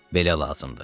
Belə lazımdır.